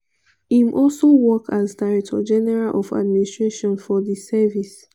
im also work as director general of administration for di service.